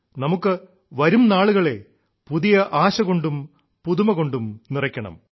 നമുക്ക് വരും നാളുകളെ പുതിയ ആശകൊണ്ടും പുതുമ കൊണ്ടും നിറയ്ക്കണം